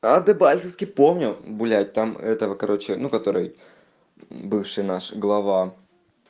а дебальцевский помню блять там этого короче ну который бывший наш глава